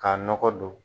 K'a nɔgɔ don